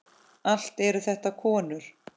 Allt eru þetta konur.